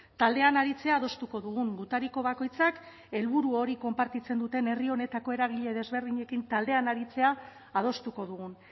taldean aritzea adostuko dugun gutariko bakoitzak helburu hori konpartitzen duten herri honetako eragile desberdinekin taldean aritzea adostuko dugun